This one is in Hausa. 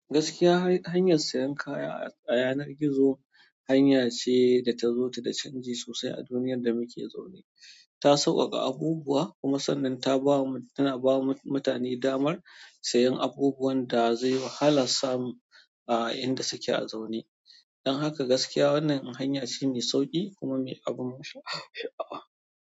Gaskiya, hanyar sayan kaya ta yanar gizo hanya ce da ta zo da canji sosai a duniyar da muke zaune. Ta sauƙaƙa abubuwa kuma sannan ta ba mu, tana ba mutane damar sayen abubuwan da zai wahalan samu a inda suke zaune. Don haka gaskiya wannan hanya shine sauƙi kuma me abun sha'awa.